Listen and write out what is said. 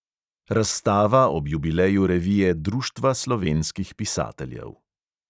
Razstava ob jubileju revije društva slovenskih pisateljev.